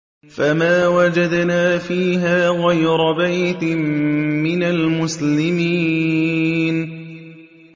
فَمَا وَجَدْنَا فِيهَا غَيْرَ بَيْتٍ مِّنَ الْمُسْلِمِينَ